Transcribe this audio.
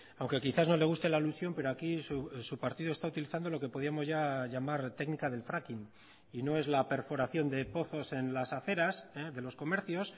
aunque quizás no le guste la alusión pero aquí su partido está utilizando lo que podíamos ya llamar técnica del fracking y no es la perforación de pozos en las aceras de los comercios